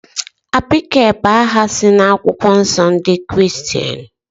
Abigail bú aha si na akwụkwọ nsọ ndị Kiristian